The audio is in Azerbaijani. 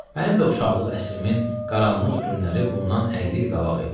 Mənim də uşaqlıq əsrimin qaranlıq günləri bundan 50 il qabaq idi.